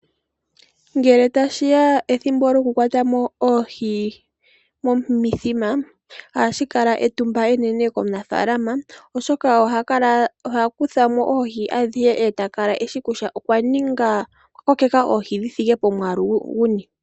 Ngele tashiya pethimbo lyoku kwata mo oohi momithima, ohashi kala etumba enene ko munafalama, oshoka oha kutha mo oohi adhihe, eta kala eshi kutya okwa kokeka oohi dhi thike pomwaalu guni.